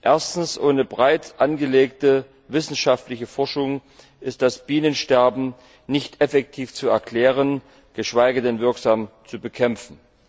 Erstens, ohne breit angelegte wissenschaftliche Forschung ist das Bienensterben nicht effektiv zu erklären, geschweige denn wirksam zu bekämpfen.